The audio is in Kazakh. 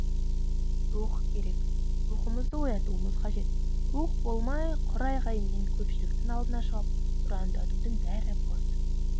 рух керек рухымызды оятуымыз қажет рух болмай құр айғаймен көпшіліктің алдына шығып ұрандатудың бәрі бос